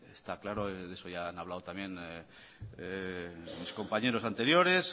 está claro eso ya han hablado también mis compañeros anteriores